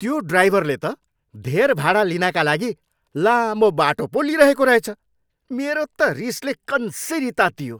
त्यो ड्राइभरले त धेर भाडा लिनाका लागि लामो बाटो पो लिइरहेको रहेछ। मेरो त रिसले कन्सिरी तातियो।